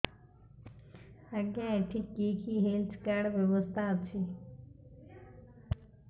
ଆଜ୍ଞା ଏଠି କି କି ହେଲ୍ଥ କାର୍ଡ ବ୍ୟବସ୍ଥା ଅଛି